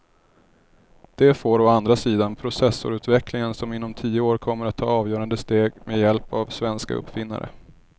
Det får å andra sidan processorutvecklingen som inom tio år kommer att ta avgörande steg med hjälp av svenska uppfinnare.